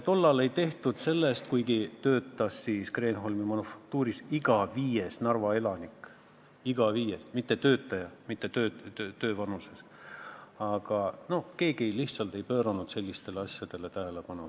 Kuigi siis töötas Kreenholmi Manufaktuuris iga viies Narva elanik – mitte iga viies tööealine –, ei pööranud keegi sellistele asjadele lihtsalt tähelepanu.